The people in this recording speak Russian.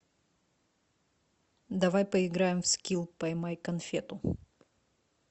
давай поиграем в скил поймай конфету